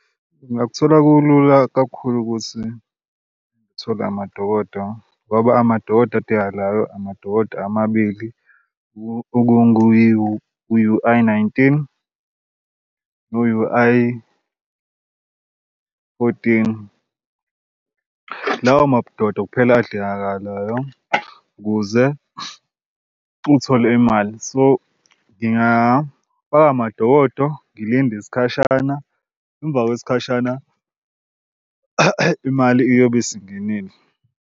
Ngingakuthola kulula kakhulu ukuthi ngithole amadokodo ngoba amadododa adingakalayo amadokodo amabili i-U_I nineteen ne-U_I fourteen. Lawo madokodo kuphela adingakalayo ukuze uthole imali. So ngingafaka amadokodo ngilinde isikhashana emva kwesikhashana imali iyobe isingenile.